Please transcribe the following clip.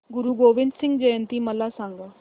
गुरु गोविंद सिंग जयंती मला सांगा